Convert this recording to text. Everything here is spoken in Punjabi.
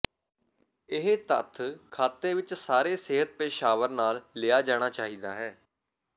ਇਹ ਤੱਥ ਖਾਤੇ ਵਿੱਚ ਸਾਰੇ ਸਿਹਤ ਪੇਸ਼ਾਵਰ ਨਾਲ ਲਿਆ ਜਾਣਾ ਚਾਹੀਦਾ ਹੈ